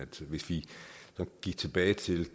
til hvis vi gik tilbage til